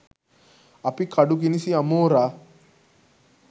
අපි කඩු කිනිසි අමෝරා